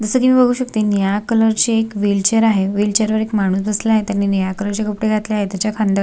जस की मी बघू शकते निळ्या कलर ची एक व्हीलचेअर आहे व्हीलचेअर वर एक माणूस बसलाय त्यांनी निळ्या कलर चे कपडे घातले आहे तेच्या खांद्या--